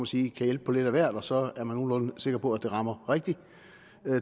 sige kan hjælpe på lidt af hvert og så er man nogenlunde sikker på at det rammer rigtigt